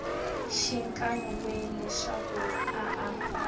xikan we leswaku a a